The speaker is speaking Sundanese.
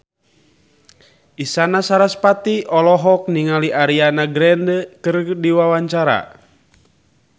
Isyana Sarasvati olohok ningali Ariana Grande keur diwawancara